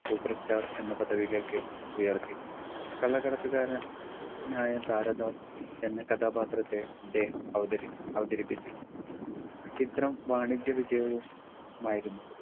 super star എന്ന പദവിയിലേക്ക് ഉയർത്തി കള്ളക്കടത്തു കാരൻ നായ താരാദാസ് എന്ന കഥാപാത്രത്തെ അദ്ദേഹം അവതരി അവതരിപ്പിച്ചു ചിത്രം വാണിജ്യ വിജയവു മായിരുന്നു